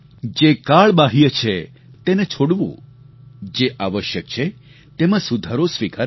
જે કાળ બાહ્ય છે તેને છોડવું જે આવશ્યક છે તેમાં સુધારો સ્વીકારવો